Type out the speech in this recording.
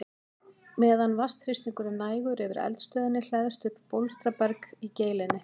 Meðan vatnsþrýstingur er nægur yfir eldstöðinni hleðst upp bólstraberg í geilinni.